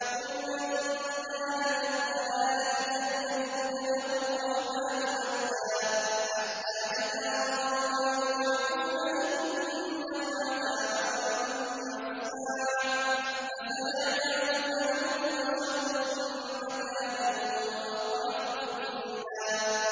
قُلْ مَن كَانَ فِي الضَّلَالَةِ فَلْيَمْدُدْ لَهُ الرَّحْمَٰنُ مَدًّا ۚ حَتَّىٰ إِذَا رَأَوْا مَا يُوعَدُونَ إِمَّا الْعَذَابَ وَإِمَّا السَّاعَةَ فَسَيَعْلَمُونَ مَنْ هُوَ شَرٌّ مَّكَانًا وَأَضْعَفُ جُندًا